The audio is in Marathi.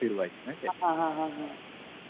हां हां हां हां तेच तेच तेच.